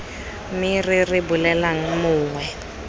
me re re bolelelang mongwe